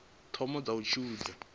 thoma dza u tsivhudza i